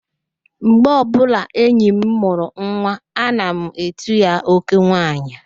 Mgbe ọbụla enyi m mụrụ nwa, ana m etu ya, "oke nwaanyị"